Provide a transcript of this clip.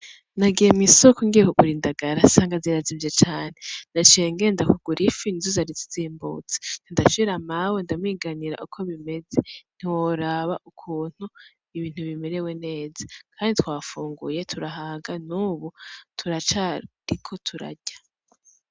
Nagiye mw'isoko ngiye kugura indagala cansanga zirazimvye cane, naciye ngenda kugira ifi nizo zari zizimbutse, ndashira Mawe ndamwunganira uko bimeze ntiworaba ukuntu ibintu bimerewe neza kandi twafunguye turahaga, nubu turacariko turarya.